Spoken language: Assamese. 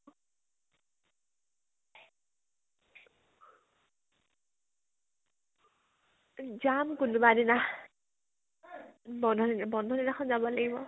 যাম কোনোবা দিনা । বন্ধ দিনাখন যাব লাগিব ।